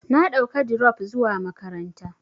Na ɗauka dirop zuwa makaranta.